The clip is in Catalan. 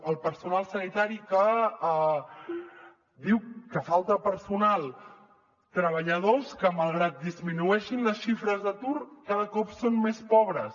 el personal sanitari que diu que falta personal treballadors que malgrat que disminueixin les xifres d’atur cada cop són més pobres